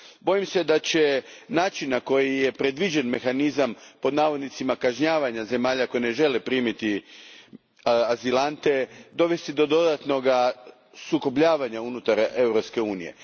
Bojim se da će način na koji je predviđen mehanizam kažnjavanja zemalja koje ne žele primiti azilante, dovesti do dodatnog sukobljavanja unutar Europske unije.